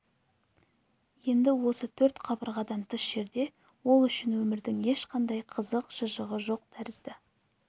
енді осы төрт қабырғадан тыс жерде ол үшін өмірдің ешқандай қызық-шыжығы жоқ тәрізді